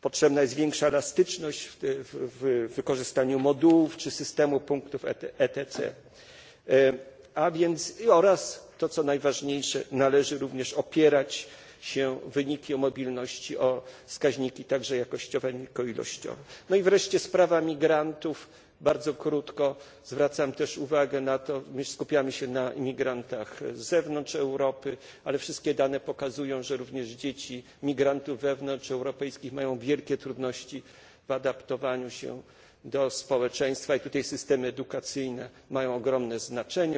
Potrzebna jest większa elastyczność w wykorzystaniu modułów czy systemu punktów ECT oraz co najważniejsze należy również opierać wyniki mobilności także na wskaźnikach jakościowych, nie tylko ilościowych. No i wreszcie sprawa migrantów. Bardzo krótko zwracam też na to uwagę. My skupiamy się na imigrantach z zewnątrz Europy, ale wszystkie dane pokazują, że również dzieci migrantów wewnątrzeuropejskich mają wielkie trudności w adaptowaniu się do społeczeństwa, i tutaj systemy edukacyjne mają ogromne znaczenie.